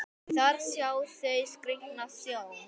Þar sjá þau skrýtna sjón.